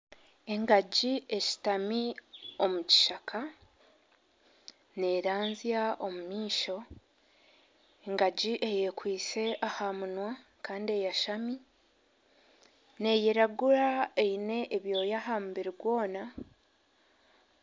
Engagi eshutami omu kishaka, neeranzya omu maisho, engagi eyekwitsi aha munwa kandi eyashami, neeyiragura kandi eine ebyoga aha mubiri gwona